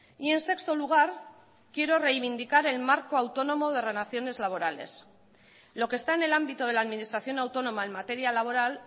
y en sexto lugar quiero reivindicar el marco autónomo de relaciones laborales lo que está en el ámbito de la administración autónoma en materia laboral